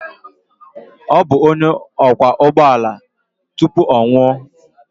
Ọ bụ onye ọkwọ ụgbọ ala tupu ọ nwụọ.